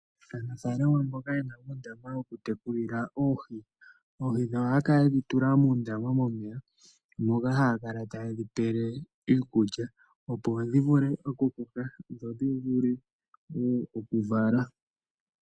Aasamane mboka yena uundama wokutekulila oohi, oohi dhawo ohaya kala yedhi tula muundama momeya moka haya kala teye dhi pele iikulya opo dhi vule okukoka ndho dhi vule woo okuvala.